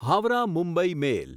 Howrah Mumbai મેલ